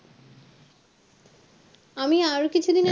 আমি আরও কিছু দিন